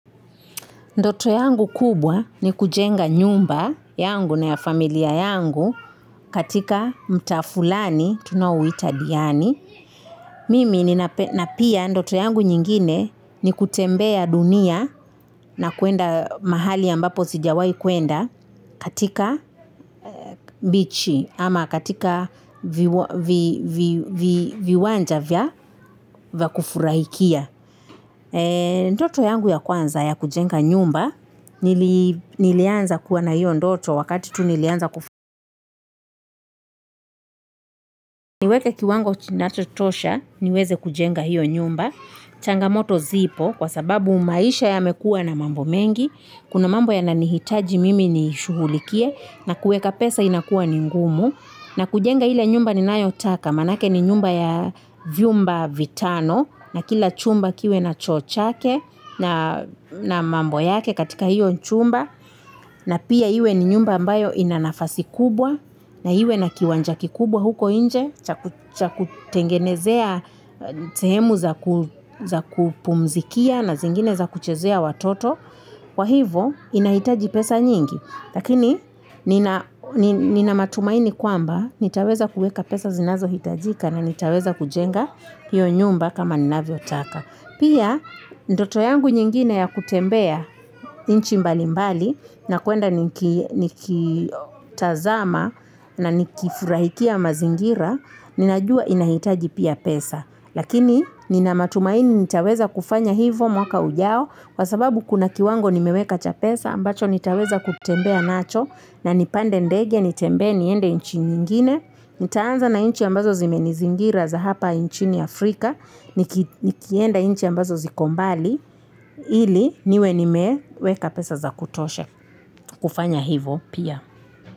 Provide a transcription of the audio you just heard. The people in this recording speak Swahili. Ndoto yangu kubwa ni kujenga nyumba yangu na ya familia yangu katika mtaa flani tunao uita diani. Mimi ni na pia ndoto yangu nyingine ni kutembea dunia na kuenda mahali ambapo sijawai kuenda katika bichi ama katika viwanja vya vya kufurahikia. Ndoto yangu ya kwanza ya kujenga nyumba nilianza kuwa na hiyo ndoto wakati tu nilianza kufuwa niweke kiwango kinachotosha niweze kujenga hiyo nyumba changamoto zipo kwa sababu maisha yamekuwa na mambo mengi kuna mambo yananihitaji mimi ni shughulikie na kuweka pesa inakua ningumu na kujenga ile nyumba ninayotaka maanake ni nyumba ya vyumba vitano na kila chumba kiwe na choo chake na mambo yake katika hiyo c humba na pia iwe ni nyumba ambayo inanafasi kubwa na iwe na kiwanja kikubwa huko nje cha kutengenezea sehemu za kupumzikia na zingine za kuchezea watoto kwa hivo inahitaji pesa nyingi lakini nina matumaini kwamba nitaweza kuweka pesa zinazo hitajika na nitaweza kujenga hiyo nyumba kama ninavyo taka Pia, ndoto yangu nyingine ya kutembea nchi mbali mbali, na kuenda nikitazama na nikifurahikia mazingira, ninajua inahitaji pia pesa. Lakini, nina matumaini nitaweza kufanya hivo mwaka ujao, kwa sababu kuna kiwango nimeweka cha pesa, ambacho nitaweza kutembea nacho, na nipande ndege nitembee, niende nchi nyingine. Nitaanza na nchi ambazo zimenizingira za hapa inchini Afrika Nikienda nchi ambazo zikombali Ili niwe ni meweka pesa za kutosha za kufanya hivo pia.